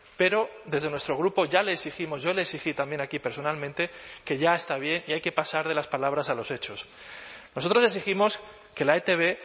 pero desde nuestro grupo ya le exigimos yo le exigí también aquí personalmente que ya está bien y hay que pasar de las palabras a los hechos nosotros exigimos que la etb